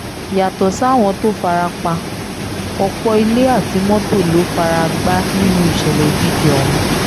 yàtọ̀ sáwọn tó fara pa ọ̀pọ̀ ilé àti mọ́tò ló fara gbá nínú ìṣẹ̀lẹ̀ òjijì ọ̀hún